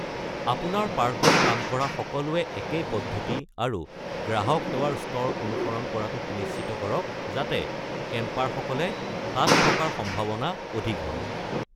আপোনাৰ পাৰ্কত কাম কৰা সকলোৱে একেই পদ্ধতি আৰু গ্ৰাহক সেৱাৰ স্তৰ অনুসৰণ কৰাটো সুনিশ্চিত কৰক যাতে কেমপাৰসকলে তাত থকাৰ সম্ভাৱনা অধিক হয়।